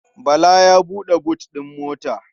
Bala ya buɗe but ɗin mota.